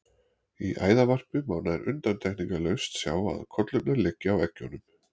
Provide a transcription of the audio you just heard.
Í æðarvarpi má nær undantekningarlaust sjá að kollurnar liggja á eggjunum.